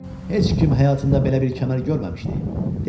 Heç kim həyatında belə bir kəmər görməmişdi, dedi.